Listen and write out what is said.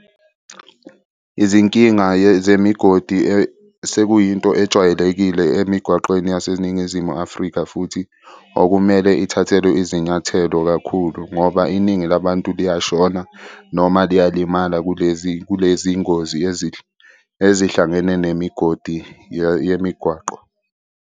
Izinkinga zemigodi sekuyinto ejwayelekile emigwaqeni yaseNingizimu Afrika futhi okumele ithathelwe izinyathelo kakhulu ngoba iningi labantu liyashona noma liyalimala kulezi kulezi ngozi ezihlangene nemigodi yemigwaqo.